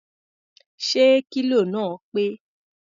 Ṣé kílò náà pé?